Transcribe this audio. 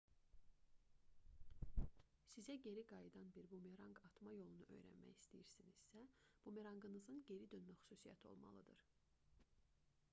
sizə geri qayıdan bir bumeranq atma yolunu öyrənmək istəyirsinizsə bumeranqınızın geri dönmə xüsusiyyəti olmalıdır